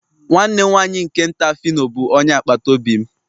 nwanne nwanyị nke nta phyno bụ onye agbata obi m.